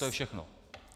To je všechno.